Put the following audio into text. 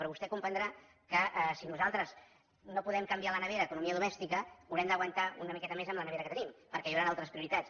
però vostè comprendrà que si nosaltres no podem canviar la nevera economia domèstica haurem d’aguantar una miqueta més amb la nevera que tenim perquè hi hauran altres prioritats